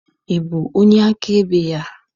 Ị bụ onye akaebe ya?